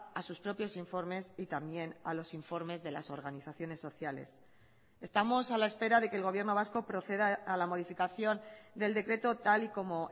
a sus propiosinformes y también a los informes de las organizaciones sociales estamos a la espera de que el gobierno vasco proceda a la modificación del decreto tal y como